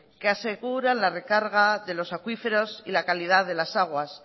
que aseguran la recarga de los acuíferos y la calidad de las aguas